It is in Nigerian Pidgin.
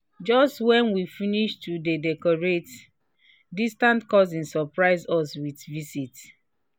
just when we finish to dey decorate distant cousins surprise us with visit